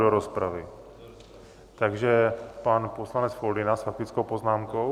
Do rozpravy, takže pan poslanec Foldyna s faktickou poznámkou.